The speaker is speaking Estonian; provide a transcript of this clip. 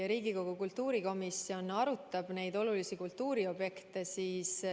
Riigikogu kultuurikomisjon arutab olulisi kultuuriobjekte.